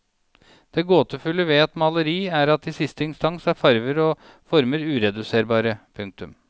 Det gåtefulle ved et maleri er at i siste instans er farver og former ureduserbare. punktum